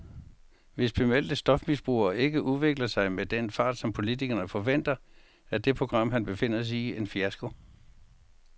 Hvis bemeldte stofmisbrugere ikke udvikler sig med den fart, som politikerne forventer, er det program, han befinder sig i, en fiasko.